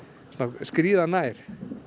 skríða nær